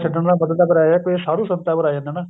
ਛੱਡਣ ਦਾ ਮਤਲਬ ਫ਼ਿਰ ਇਹ ਆ ਸਾਧੂ ਸੰਤਾਂ ਪਰ ਆ ਜਾਨਾ ਹਨਾ